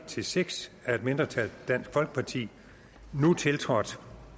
seks af et mindretal nu tiltrådt